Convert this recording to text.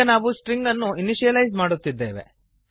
ಈಗ ನಾವು ಸ್ಟ್ರಿಂಗ್ ಅನ್ನು ಇನಿಶಿಯಲೈಸ್ ಮಾಡುತ್ತಿದ್ದೇವೆ